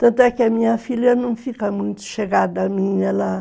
Tanto é que a minha filha não fica muito chegada a mim, ela